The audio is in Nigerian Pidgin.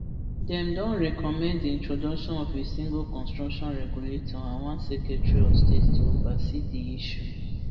dem don recommend di introduction of a single construction regulator and one secretary of state to oversee di issue